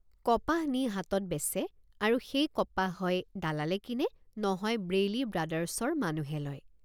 কপাহ নি হাটত বেচে আৰু সেই কপাহ হয় দালালে কিনেনহয় বেইলি ব্ৰাদাৰ্ছৰ মানুহে লয়।